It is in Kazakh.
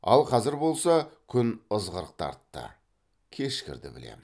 ал қазір болса күн ызғырық тартты кешкірді білем